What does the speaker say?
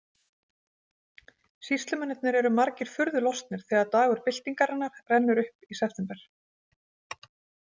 Sýslumennirnir eru margir furðu lostnir þegar dagur byltingarinnar rennur upp í september.